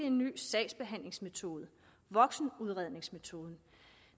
en ny sagsbehandlingsmetode voksenudredningsmetoden